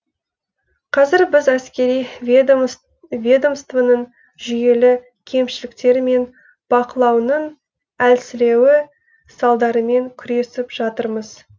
қазір біз әскери ведомствоның жүйелі кемшіліктері мен бақылауының әлсіреуі салдарымен күресіп жатырмыз